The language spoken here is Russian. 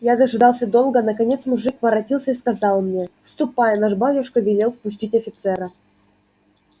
я дожидался долго наконец мужик воротился и сказал мне ступай наш батюшка велел впустить офицера